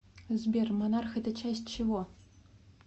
сбер монарх это часть чего